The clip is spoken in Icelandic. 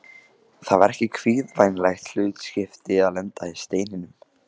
Það var ekki kvíðvænlegt hlutskipti að lenda í Steininum.